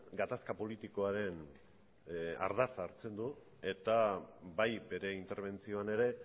gatazka politikoaren ardatza hartzen du eta bai bere interbentzioan ere